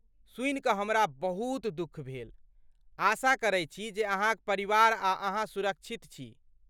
सुनि कऽ हमरा बहुत दुःख भेल, आशा करैत छी जे अहाँक परिवार आ अहाँ सुरक्षित छी।